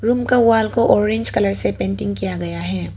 Room का wall को orange colour से पेंटिंग किया गया है।